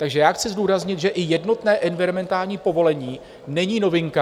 Takže já chci zdůraznit, že i jednotné environmentální povolení není novinka.